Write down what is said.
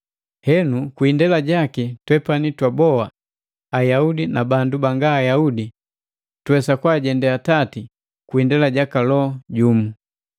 Henu, kwi indela jaki, twepani twaboa, Ayaudi na bandu banga Ayaudi, tuwesa kwaajendee Atati kwa kwi indela jaka Loho jumu.